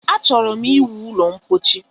Achọrọ ịwu ụlọ ḿkpóchí